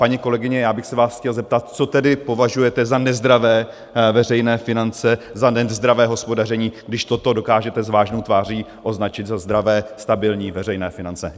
Paní kolegyně, já bych se vás chtěl zeptat, co tedy považujete za nezdravé veřejné finance, za nezdravé hospodaření, když toto dokážete s vážnou tváří označit za zdravé stabilní veřejné finance.